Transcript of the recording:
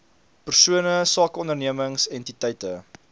persone sakeondernemings entiteite